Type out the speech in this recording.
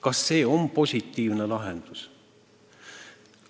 Kas see on positiivne lahendus?